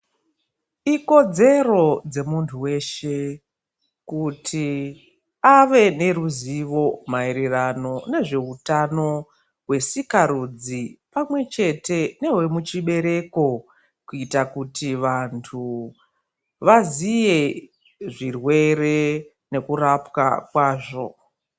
Ikodzero dzemuntu weshe kuti ave neruzivo maererano nezveutano hwesikarudzi pamwe chete nehwemuchibereko kuita kuti vantu vaziye zviwere nekurapwa kwazvo.